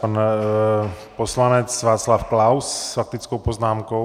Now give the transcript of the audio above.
Pan poslanec Václav Klaus s faktickou poznámkou.